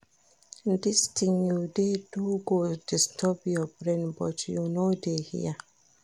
Dis thing you dey do go disturb your brain but you no dey hear